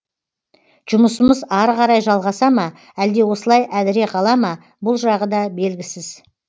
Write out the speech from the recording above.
жұмысымыз ары қарай жалғаса ма әлде осылай әдіре қала ма бұл жағы да белгісіз